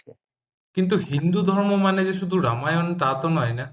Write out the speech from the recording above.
কিন্তু হিন্দুধর্ম মানে যে শুধু রামায়ণ তা তো নয় না